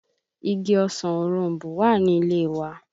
Igi ọsàn òroǹbó wà ní ilé e wa